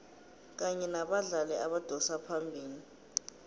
kanye nabadlali abadosa phambili